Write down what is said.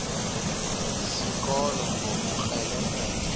sikolo ngobukrele krele